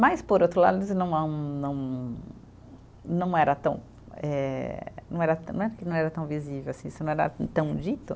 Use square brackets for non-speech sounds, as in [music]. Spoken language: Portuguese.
Mas, por outro lado, [unintelligible] não não era tão eh, não era tão, não é que não era tão visível assim, se não era tão dito.